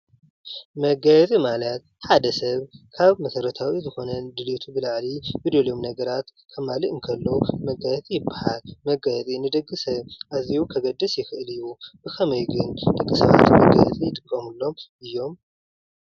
መጋየፂ ማለት ሓደ ሰብ ካብ መሰረታዊ ዝኾነ ድሌቱ ብላዕሊ ዝደልዮም ነገራት ከማልእ እንተሎ መጋየፂ ይበሃል። መጋየፂ ንደቂ ሰብ ኣዝዩ ከገድስ ይኽእል እዩ። ብኸመይ ግን ደቂ ሰባት መጋየፂ ይጥቀምሎም እዮም።